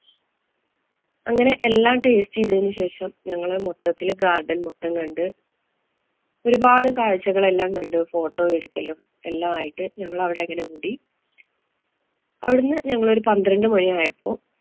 അങ്ങനെ എല്ലാം taste ചെയ്തതിനു ശേഷം ഞങ്ങള് മൊത്തത്തില് garden മൊത്തം കണ്ട് ഒരുപാട് കാഴ്ചകള്‍ എല്ലാം കണ്ട് photo എടുക്കലും, എല്ലാമായിട്ട് ഞങ്ങള് അവിടെ അങ്ങനെ കൂടി. അവിടുന്ന് ഞങ്ങള് ഒരു പന്ത്രണ്ട് മണിയായപ്പോ